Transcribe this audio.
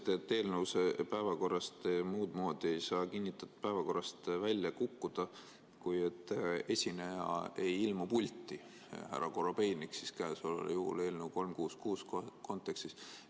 Te ütlesite, et eelnõu muud moodi ei saa kinnitatud päevakorrast välja kukkuda, kui et ei ilmu pulti esineja, härra Korobeinik siis käesoleval juhul eelnõu 366 kontekstis.